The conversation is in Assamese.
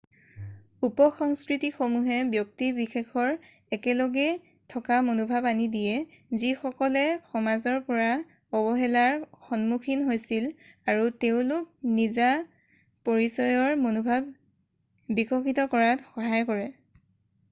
উপসংস্কৃতিসমূহে ব্যক্তি বিশেষৰ একেলগে থকা মনোভাৱ আনি দিয়ে যিসকলে সমাজৰ পৰা অৱহেলাৰ সন্মুখীন হৈছিল আৰু তেওঁলোকক নিজা পৰিচয়ৰ মনোভাৱ বিকশিত কৰাত সহায় কৰে